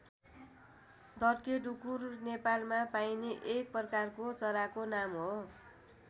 धर्के ढुकुर नेपालमा पाइने एक प्रकारको चराको नाम हो।